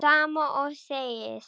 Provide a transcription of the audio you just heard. Sama og þegið!